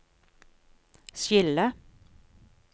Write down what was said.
skille